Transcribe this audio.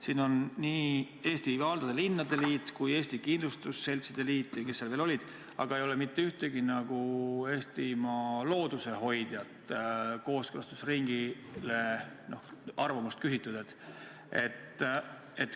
Siin on kirjas nii Eesti Valdade ja Linnade Liit kui ka Eesti Kindlustusseltside Liit ja kes seal veel olid, aga ei ole mitte ühtegi Eestimaa loodusehoidjat, kellelt oleks kooskõlastusringi käigus arvamust küsitud.